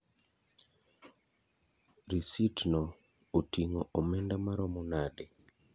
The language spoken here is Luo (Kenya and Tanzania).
Risit no otingo omenda maromo nade?